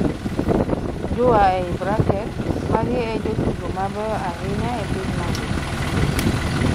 (jua) magi e jotugo mabeyo ahinya e piny mangima?